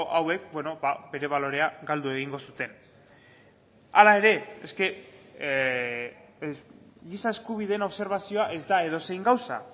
hauek bere balorea galdu egingo zuten hala ere giza eskubideen obserbazioa ez da edozein gauza